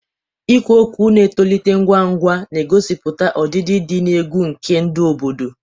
Ikwu okwu na-etolite ngwa ngwa, na-egosipụta ọdịdị dị egwu nke ndụ obodo.